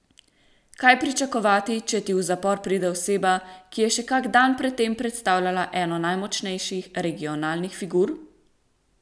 Kaj pričakovati, če ti v zapor pride oseba, ki je še kak dan pred tem predstavljala eno najmočnejših regionalnih figur?